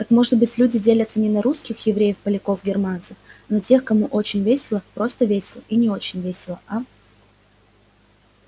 так может быть люди делятся не на русских евреев поляков германцев а на тех кому очень весело просто весело и не очень весело а